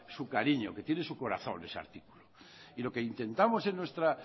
su cariño que tiene su corazón ese artículo y lo que intentamos en nuestra